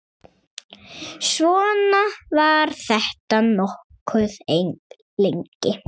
Svona var þetta nokkuð lengi.